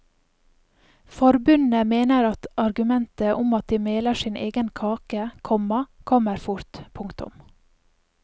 Forbundet mener argumentet om at de meler sin egen kake, komma kommer fort. punktum